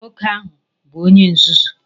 Nwoke ahụ bụ Onye nzuzu!